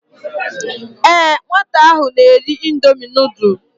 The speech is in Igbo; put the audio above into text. Ee nwata ahụ na-eri indomi nudul.